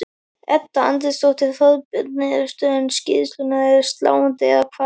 Edda Andrésdóttir: Þorbjörn, niðurstöður skýrslunnar eru sláandi, eða hvað?